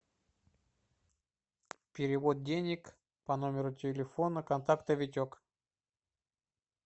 перевод денег по номеру телефона контакта витек